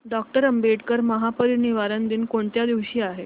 doctor Ambedkar महापरिनिर्वाण दिन कोणत्या दिवशी आहे